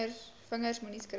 vingers moenie skrik